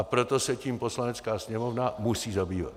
A proto se tím Poslanecká sněmovna musí zabývat.